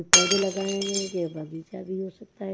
पौधे लगाए गए यह बगीचा भी हो सकता है।